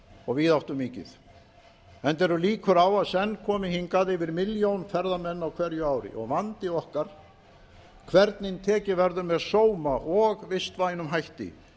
og víðáttumikið enda eru líkur á að senn komi hingað yfir milljón ferðamenn á hverju ári vandi okkar er hvernig tekið verður með sóma og vistvænum hætti